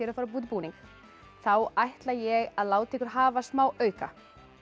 að fara að búa til búning þá ætla ég að láta ykkur hafa smá auka